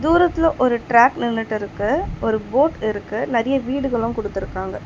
தூரத்துல ஒரு ட்ராக் நின்னுட்ருக்கு ஒரு போட் இருக்கு நெறைய வீடுகளு குடுத்திருக்காங்க.